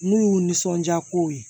N'u y'u nisɔndiya kow ye